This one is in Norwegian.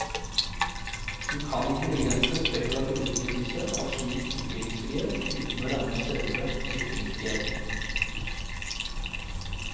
Du kan ikke begrense spekulativ utnyttelse av slik ytringsfrihet uten å ramme selve ytringsfriheten.